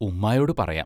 ഉമ്മായോടു പറയാം.